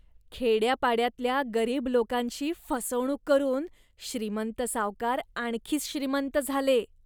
खेड्यापाड्यातल्या गरीब लोकांची फसवणूक करून श्रीमंत सावकार आणखीच श्रीमंत झाले.